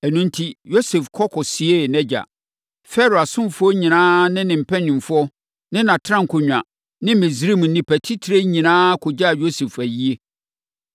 Ɛno enti, Yosef kɔ kɔsiee nʼagya. Farao asomfoɔ nyinaa ne ne mpanimfoɔ ne nʼatenankonnwa ne Misraim nnipa titire nyinaa kɔgyaa Yosef ayie.